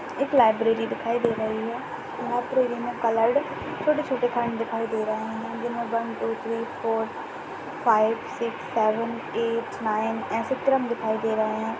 एक लाइब्ररी दिखाई दे रही है लाइब्रेरी में कलर्ड छोटे-छोटे दिखाई दे रहे हैं। जिनमे one two three four five six seven eight nine ऐसे क्रम दिखाई दे रहे हैं।